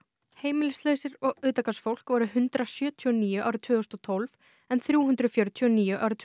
og utangarðsfólk voru hundrað sjötíu og níu árið tvö þúsund og tólf en þrjú hundruð fjörutíu og níu árið tvö þúsund og sautján